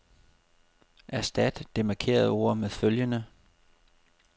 Erstat det markerede ord med følgende.